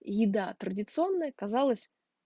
еда традиционная казалось